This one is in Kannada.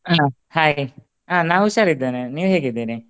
Hai ಆ ನಾ ಹುಷಾರ್ ಇದ್ದೇನೆ ನೀವ್ ಹೇಗಿದಿರಿ?